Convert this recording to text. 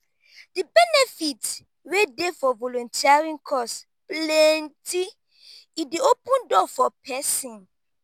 di benefit wey dey for volunteering cause plenty e dey open door for pesin.